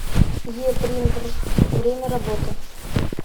е принтрф время работы